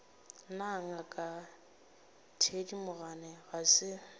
na ngaka thedimogane ga se